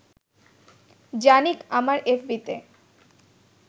Jannik আমার এফবিতে